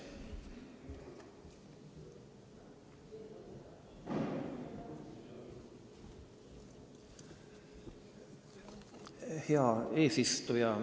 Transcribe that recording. Hea eesistuja!